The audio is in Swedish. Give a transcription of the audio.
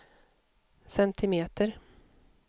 centimeter